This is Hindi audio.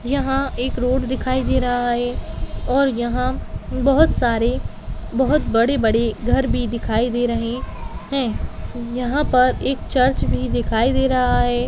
यहाँ एक रोड दिखायी दे रहा है और यहाँ बहुत सारे बहुत बड़े-बड़े घर भी दिखाई दे रहे है यहाँ पर एक चर्च भी दिखाई दे रहा है।